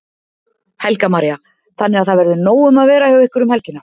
Helga María: Þannig að það verður nóg um að vera hjá ykkur um helgina?